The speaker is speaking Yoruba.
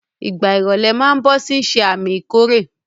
Ìgbà ìrọ̀lẹ̀ máa ń bọ̀ ó sì ń ṣe àmì ìkórè.